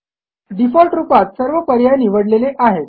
default रूपात सर्व पर्याय निवडलेले आहेत